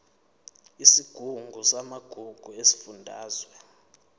isigungu samagugu sesifundazwe